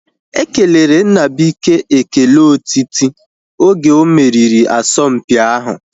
Ekelere Nnabuike ekele otiti oge omeriri asọmpi ahu